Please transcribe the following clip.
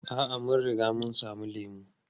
A'a, mun riga mun sami lemu.